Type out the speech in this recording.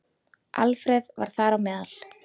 Alfreð var þar á meðal.